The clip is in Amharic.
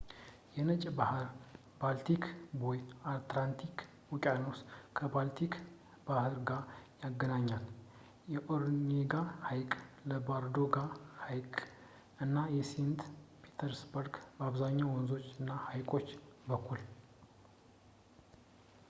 የነጭ ባሕር – ባልቲክ ቦይ የአርክቲክ ውቅያኖስን ከባልቲክ ባሕር ጋር ያገናኛል ፣ በኦኔጋ ሐይቅ ፣ በላዶጋ ሐይቅ እና በሴንት ፒተርስበርግ ፣ በአብዛኛው በወንዞች እና በሐይቆች በኩል